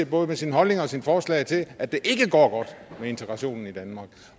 både med sin holdning og sine forslag med til at det ikke går godt med integrationen i danmark